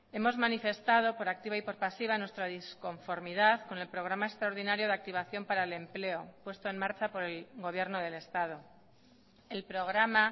hemos manifestado por activa y por pasiva nuestra disconformidad con el programa extraordinario de activación para el empleo puesto en marcha por el gobierno del estado el programa